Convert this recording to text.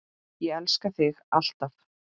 Ég elska þig. alltaf.